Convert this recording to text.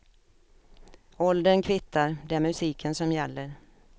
Åldern kvittar, det är musiken som gäller.